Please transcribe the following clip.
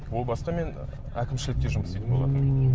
ыыы ол баста мен әкімшілікте жұмыс істейтін болатынмын